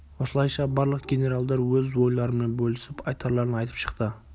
осылайша барлық генералдар өз ойларымен бөлісіп айтарларын айтып шықты